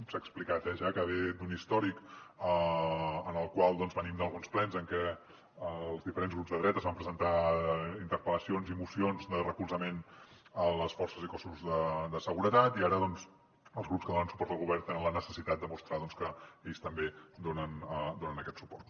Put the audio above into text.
s’ha explicat eh ja que ve d’un històric en el qual venim d’alguns plens en què els diferents grups de dretes van presentar interpel·lacions i mocions de recolzament a les forces i cossos de seguretat i ara els grups que donen suport al govern tenen la necessitat de mostrar que ells també hi donen aquest suport